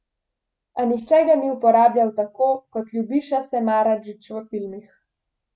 A nihče ga ni uporabljal tako kot Ljubiša Samardžić v filmih.